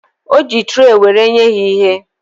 O ji traị were enye ha ihe